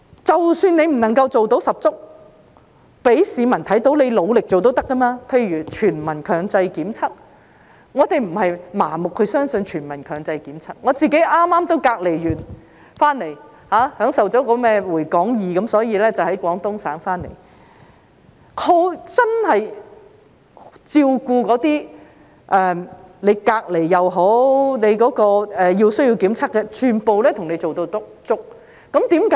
即使你不能夠做到十足，讓市民看到你努力做也是可以的，例如全民強制檢測，我們不是盲目相信全民強制檢測，我也剛剛完成隔離，享受了"回港易"，所以我在廣東省回來，他們真的照顧那些不論是隔離或需要檢測的人，全部做足工夫。